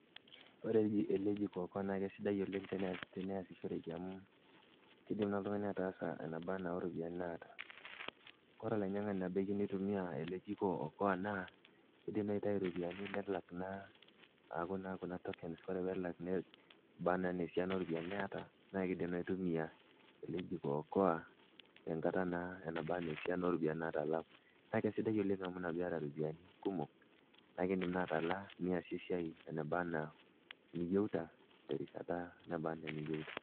Oore eele jiko okoa naa kesidai oleng teniasishoreki amuu keidim oltung'ani ataasa enaba enaa oropiyiani naata. Koree olainyiang'ani oba oyieu neitumia eele jiko oka naa keidim naaji neitau iropiyiani nelak naa kuna tokens eneba naa enaa iropiyiani niata, naa keidim naa aitumia eele jiko oka tenkata naa enaba naa esiana oropiyiani natalaa. Naa kesidai oleng amuu iina naa peyie eeta iropiyiani kumok naa iidim naa atalaa niasie esiai enaba naa eniyieuta, terishata naba enaa eniyieuta.